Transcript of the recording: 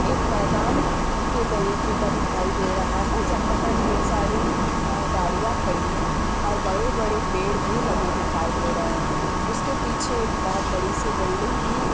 एक मैदान के तरीके का दिखाई दे रहा है जहाँ पर ढेर सारी अ गाड़ियां खड़ी हैं और बड़े-बड़े पेड भी लगे दिखाई दे रहे हैं| उसके पीछे एक बहुत बड़ी-सी बिल्डिंग भी --